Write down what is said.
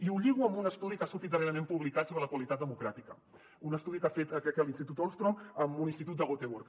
i ho lligo amb un estudi que ha sortit darrerament publicat sobre la qualitat democràtica un estudi que ha fet crec que l’institut ostrom amb un institut de göteborg